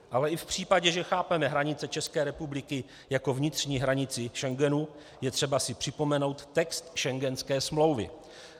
Ale i v případě, že chápeme hranice České republiky jako vnitřní hranici Schengenu, je třeba si připomenout text schengenské smlouvy.